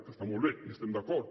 que està molt bé hi estem d’acord